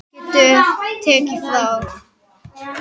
Það getur tekið frá